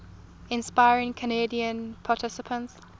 inspiring candidate participants